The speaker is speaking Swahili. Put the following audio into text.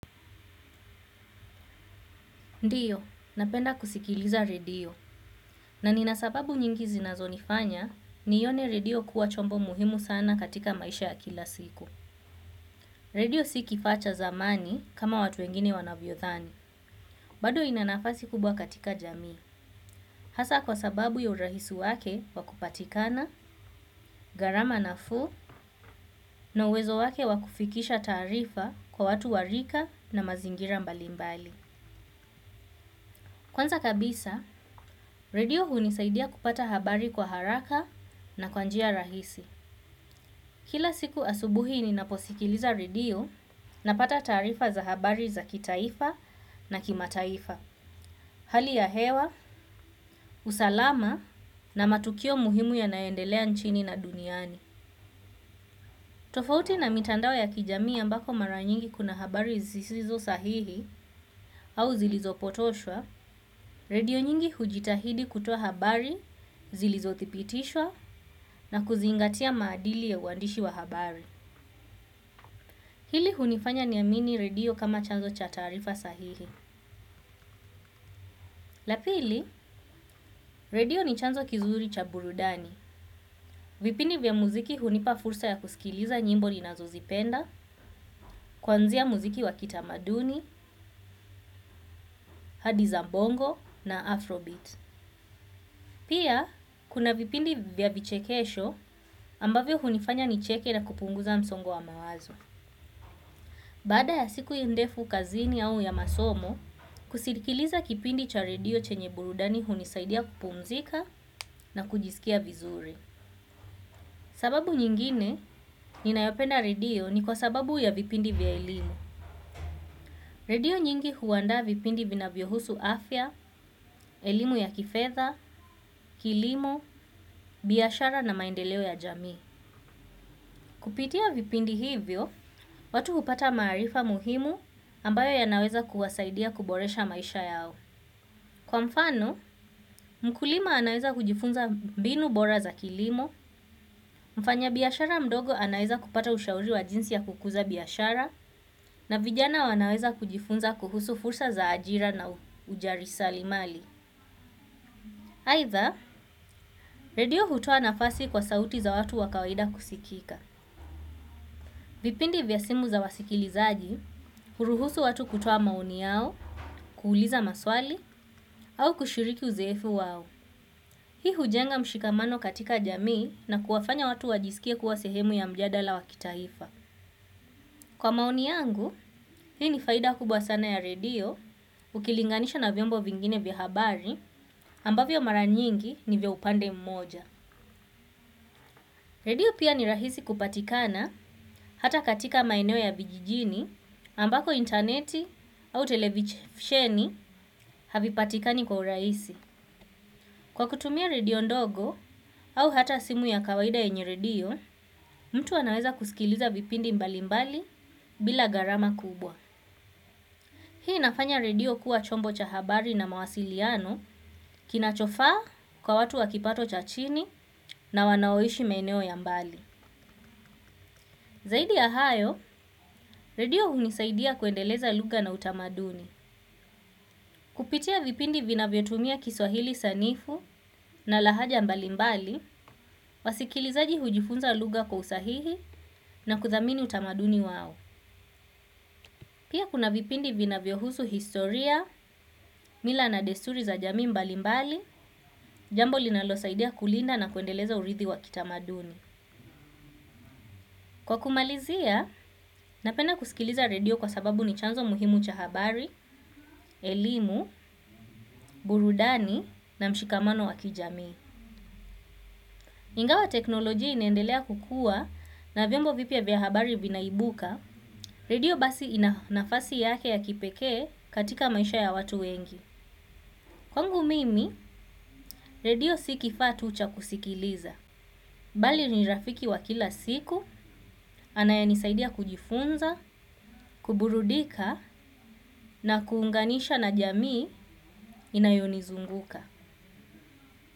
Ndiyo, napenda kusikiliza redio. Na nina sababu nyingi zinazonifanya nione redio kuwa chombo muhimu sana katika maisha ya kila siku. Redio si kifaa cha zamani kama watu wengine wanavyothani. Bado inanafasi kubwa katika jamii. Hasa kwa sababu ya urahisi wake wa kupatikana, gharama nafuu, na uwezo wake wa kufikisha taarifa kwa watu wa rika na mazingira mbalimbali. Kwanza kabisa, redio hunisaidia kupata habari kwa haraka na kwa njia rahisi. Kila siku asubuhi ninaposikiliza redio napata taarifa za habari za kitaifa na kimataifa. Hali ya hewa, usalama na matukio muhimu ya naendelea nchini na duniani. Tofauti na mitandao ya kijamii ambako mara nyingi kuna habari zisizo sahihi au zilizopotoshwa, redio nyingi hujitahidi kutoa habari, zilizothibitishwa na kuzingatia maadili ya uandishi wa habari. Hili hunifanya ni amini redio kama chanzo cha taarifa sahihi. La pili, redio ni chanzo kizuri cha burudani. Vipindi vya muziki hunipa fursa ya kusikiliza nyimbo ninazo zipenda, kwanzia muziki wa kitamaduni, hadi za bongo na afrobeat. Pia, kuna vipindi vya vichekesho ambavyo hunifanya nicheke na kupunguza msongo wa mawazo. Baada ya siku ndefu kazini au ya masomo, kusikiliza kipindi cha redio chenye burudani hunisaidia kupumzika na kujisikia vizuri. Sababu nyingine ninayopenda redio ni kwa sababu ya vipindi vya elimu. Redio nyingi huandaa vipindi vinavyo husu afya, elimu ya kifedha, kilimo, biashara na maendeleo ya jamii. Kupitia vipindi hivyo, watu hupata maarifa muhimu ambayo yanaweza kuwasaidia kuboresha maisha yao. Kwa mfano, mkulima anaweza kujifunza mbinu bora za kilimo, mfanya biashara mdogo anaweza kupata ushauri wa jinsi ya kukuza biashara, na vijana wanaweza kujifunza kuhusu fursa za ajira na ujarisalimali. Aitha, redio hutoa nafasi kwa sauti za watu wa kawaida kusikika. Vipindi vya simu za wasikilizaji, huruhusu watu kutua maoni yao, kuuliza maswali, au kushiriki uzoefu wao. Hii hujenga mshikamano katika jamii na kuwafanya watu wajisikie kuwa sehemu ya mjadala wa kitaifa. Kwa maoni yangu hii ni faida kubwa sana ya redio ukilinganisha na vyombo vingine vya habari ambavyo mara nyingi ni vya upande mmoja. Redio pia ni rahisi kupatikana hata katika maeneo ya vijijini ambako interneti au televisheni havipatikani kwa urahisi. Kwa kutumia redio ndogo au hata simu ya kawaida yenye redio, mtu anaweza kusikiliza vipindi mbali mbali bila gharama kubwa. Hii inafanya redio kuwa chombo cha habari na mawasiliano kinachofaa kwa watu wa kipato cha chini na wanaoishi maeneo ya mbali. Zaidi ya hayo, redio hunisaidia kuendeleza lugha na utamaduni. Kupitia vipindi vinavyo tumia kiswahili sanifu na lahaja mbali mbali, wasikilizaji hujifunza lugha kwa usahihi na kuthamini utamaduni wao. Pia kuna vipindi vinavyohusu historia, mila na desuri za jamii mbali mbali, jambo linalosaidia kulinda na kuendeleza urithi wa kitamaduni. Kwa kumalizia napenda kusikiliza redio kwa sababu ni chanzo muhimu cha habari elimu burudani na mshikamano wa kijamii. Ingawa teknolojia inaendelea kukua na vyombo vipya vya habari vinaibuka, redio basi inanafasi yake ya kipekee katika maisha ya watu wengi. Kwangu mimi redio si kifaa tu cha kusikiliza. Bali ni rafiki wa kila siku, anayenisaidia kujifunza, kuburudika na kuunganisha na jamii inayonizunguka.